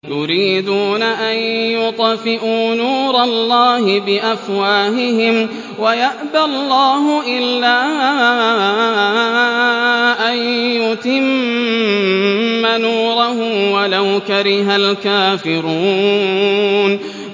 يُرِيدُونَ أَن يُطْفِئُوا نُورَ اللَّهِ بِأَفْوَاهِهِمْ وَيَأْبَى اللَّهُ إِلَّا أَن يُتِمَّ نُورَهُ وَلَوْ كَرِهَ الْكَافِرُونَ